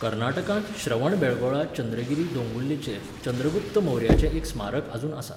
कर्नाटकांत श्रवणबेळगोळा चंद्रगिरी दोंगुल्लेचेर चंद्रगुप्त मौर्याचें एक स्मारक आजून आसा.